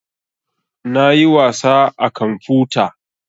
Na yi wasa a kamfuta